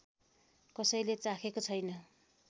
कसैले चाखेको छैन